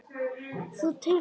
Þú til Kanarí?